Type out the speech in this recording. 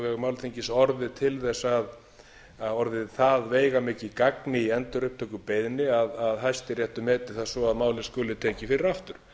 vegum alþingis orðið til þess og orðið það veigamikið gagn í endurupptökubeiðni að hæstiréttur meti það svo að málið skuli tekið fyrir aftur